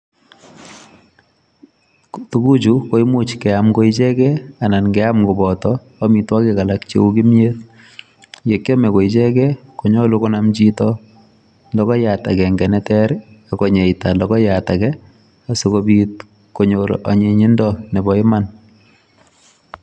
Tuguchu koimuch keam ko ichegei anan keam koboto amitwogik alak cheu kimyet. Ye kiame ko ichegi, konyolu konam chito logoiyat agenge neter, akonyeita logoiyat age asikobit konyor anyinyindo nebo iman.